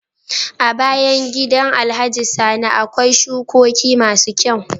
A bayan gidan alhaji sani akwai shukoki masu kyau